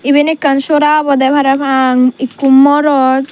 eben ekkan sora obodey parapang ekko morot.